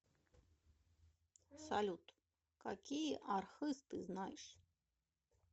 салют какие архыз ты знаешь